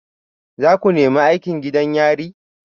Za ku nemi aikin gidan yari?